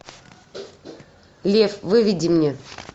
лев выведи мне